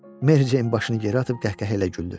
Mary Jane başını geri atıb qəhqəhə ilə güldü.